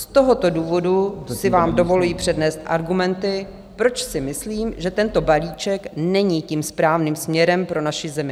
Z tohoto důvodu si vám dovoluji přednést argumenty, proč si myslím, že tento balíček není tím správným směrem pro naši zemi.